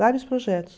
Vários projetos.